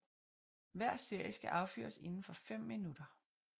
Hver serie skal affyres indenfor fem minutter